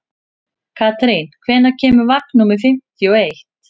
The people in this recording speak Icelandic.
Karín, hvenær kemur vagn númer fimmtíu og eitt?